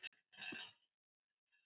Þetta þurfi að skoða frekar.